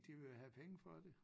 De vil jo have penge for det